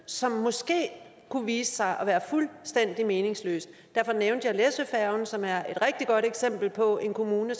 som måske kunne vise sig at være fuldstændig meningsløs derfor nævnte jeg læsøfærgen som er et rigtig godt eksempel på at en kommune